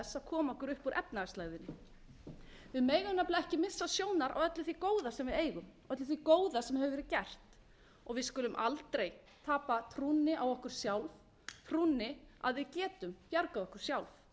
koma okkur upp úr efnahagslægðinni við megum nefnilega ekki missa sjónar á öllu því góða sem við eigum öllu því góða sem hefur verið gert við skulum aldrei tapa trúnni á okkur sjálf trúnni á að við getum bjargað okkur sjálf